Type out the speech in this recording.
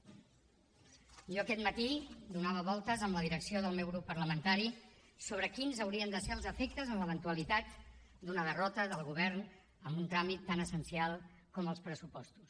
jo aquest matí donava voltes amb la direcció del meu grup parlamentari sobre quins haurien de ser els efectes en l’eventualitat d’una derrota del govern en un tràmit tan essencial com els pressupostos